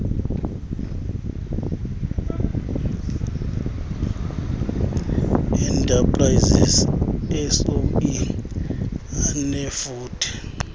enterprises soe anefuthe